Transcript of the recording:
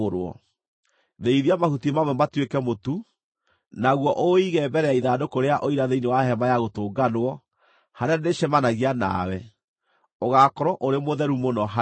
Thĩithia mahuti mamwe matuĩke mũtu, naguo ũũige mbere ya ithandũkũ rĩa Ũira thĩinĩ wa Hema-ya-Gũtũnganwo, harĩa ndĩĩcemanagia nawe. Ũgaakorwo ũrĩ mũtheru mũno harĩwe.